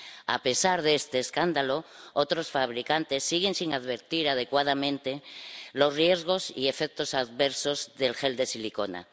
A pesar de este escándalo, otros fabricantes siguen sin advertir adecuadamente de los riesgos y efectos adversos del gel de silicona.